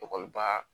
Ekɔliba